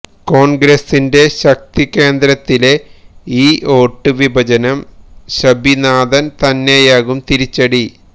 കോൺഗ്രസിന്റെ ശക്തി കേന്ദ്രത്തിലെ ഈ വോട്ട് വിഭജനം ശബിനാഥന് തന്നെയാകും തിരിച്ചടി